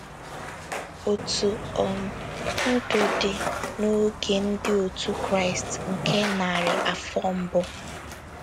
Otú um Ndụ Dị n’Oge ndị òtù Kraịst nke Narị Afọ Mbụ